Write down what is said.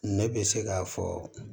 Ne bɛ se k'a fɔ